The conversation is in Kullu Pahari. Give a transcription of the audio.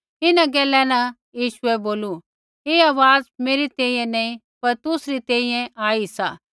इन्हां गैला न यीशुऐ बोलू ऐ आवाज़ मेरी तैंईंयैं नैंई पर तुसरी तैंईंयैं आई सा